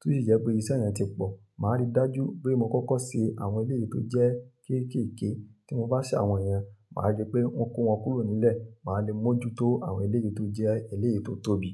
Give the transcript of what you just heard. tó si je pé iṣẹ́ yẹn ti pọ̀, màá rí dájú pé mo kọ́kọ́ ṣe àwọn eléyìí tó jẹ́ kéékèèké. Tí mo bá ṣe àwọn yẹn, màá rí pé wọ́n kó wọn kúrò nílẹ̀, màá le mojuto àwọn eléyìí tó jẹ́ eléyìí tó tóbi.